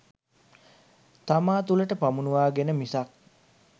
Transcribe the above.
තමා තුළට පමුණුවාගෙන මිසක්